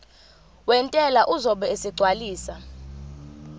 wentela uzobe esegcwalisa